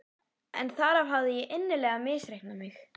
En þar hafði ég illilega misreiknað mig.